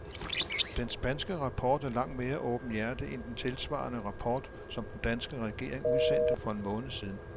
Den spanske rapport er langt mere åbenhjertig end den tilsvarende rapport, som den danske regering udsendte for en måned siden.